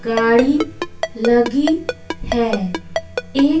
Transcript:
गाड़ी लगी है एक--